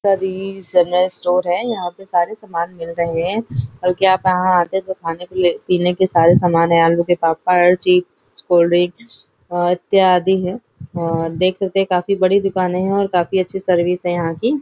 सभी general store है यहाँ पर सारे सामान मिल रहे हैं बल्कि आप यहाँ आते हैं तो खाने के लिए पीने के सारे सामान है आलू के पापड़ चिप्स कोल्ड ड्रिंक अ इत्यादि है और देख सकते हैं काफी बड़ी दुकाने है और काफी अच्छी सर्विस है यहाँ की--